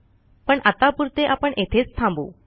पण आत्तापुरते आपण येथेच थांबू